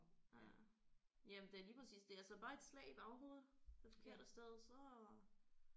Ja ja det er lige præcis det altså bare et slag i baghovedet det forkerte sted så